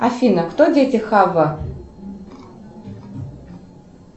афина кто дети хавва